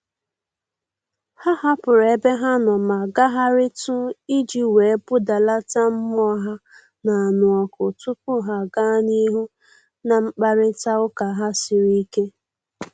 Ha hapụrụ ebe ha nọ ma gagharịtụ iji wee budalata mmụọ ha na-anụ ọkụ tupu ha gaa n'ihu na mkparịta ụka ha siri ike